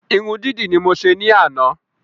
Irun dídì ni mo se ní àná